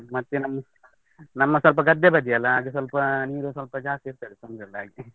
ಮತ್ತೆ ನಮ್ದು ನಮ್ಮ ಸ್ವಲ್ಪ ಗದ್ದೆ ಬದಿಯಲ್ಲ, ಹಾಗೆ ಸ್ವಲ್ಪ ನೀರು ಸ್ವಲ್ಪ ಜಾಸ್ತಿ ಇರ್ತದೆ ತೊಂದ್ರೆಯಿಲ್ಲ ಹಾಗೆ.